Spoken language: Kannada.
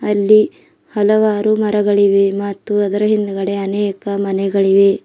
ಅಲ್ಲಿ ಹಲವಾರು ಮರಗಳಿವೆ ಮತ್ತು ಅದರ ಹಿಂದ್ಗಡೆ ಅನೇಕ ಮನೆಗಳಿವೆ.